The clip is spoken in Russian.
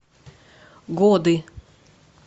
годы